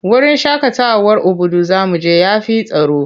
Wurin shaƙatawar Obudu za mu je ya fi tsaro.